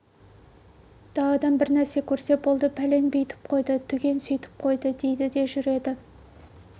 даладан бірдеңе көрсе болды пәлен бүйтіп қойды түген сүйтіп қойды дейді де жүреді